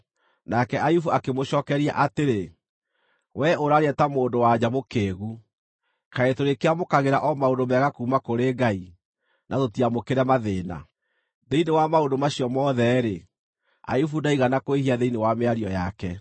Nake Ayubu akĩmũcookeria atĩrĩ, “Wee ũraaria ta mũndũ-wa-nja mũkĩĩgu. Kaĩ turĩkĩamũkagĩra o maũndũ mega kuuma kũrĩ Ngai, na tũtiamũkĩre mathĩĩna?” Thĩinĩ wa maũndũ macio mothe-rĩ, Ayubu ndaigana kwĩhia thĩinĩ wa mĩario yake.